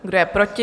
Kdo je proti?